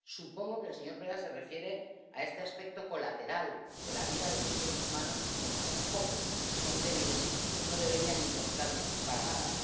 Supongo que el señor Preda se refiere a este aspecto colateral de la vida de los seres humanos que, como son pocos y son débiles, no deberían importarnos nada.